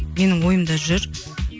менің ойымда жүр